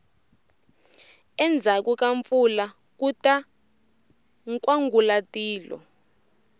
endzhaku ka mpfula kuta nkwangulatilo